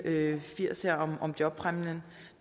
firs om jobpræmien